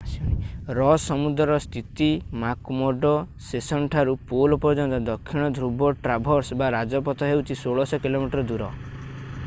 ରସ୍ ସମୁଦ୍ରରେ ସ୍ଥିତ ମ୍ୟାକ୍‌ମର୍ଡୋ ଷେଶନ୍‌ଠାରୁ ପୋଲ୍ ପର୍ଯ୍ୟନ୍ତ ଦକ୍ଷିଣ ଧ୍ରୁବ ଟ୍ରାଭର୍ସ ବା ରାଜପଥ ହେଉଛି 1600 କି.ମି. ଦୂର।